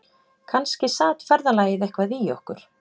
Kannski sat ferðalagið eitthvað í okkur